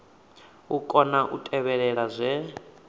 u kona u tevhela zwe